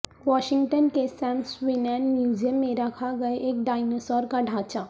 Washington کے Smithsonian museum میں رکھا گئے ایک ڈئنوسار کا ڈھانچہ